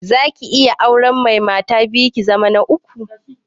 Zaki iya auren mai mata biyu, ki zama ta uku?